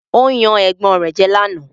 Ó yan ẹ̀gbọ́n rẹ̀ jẹ́ lánàá